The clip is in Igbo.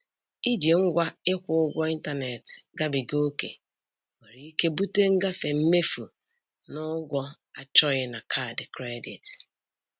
Iji ngwa ịkwụ ụgwọ ịntaneetị gabiga ókè nwere ike bute ngafe mmefu na ụgwọ achọghị na kaadị kredit.